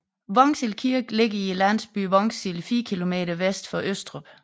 Vognsild Kirke ligger i landsbyen Vognsild 4 km vest for Østrup